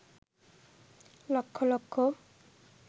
lakh lakh